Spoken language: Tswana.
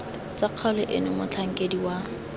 tsa kgaolo eno motlhankedi wa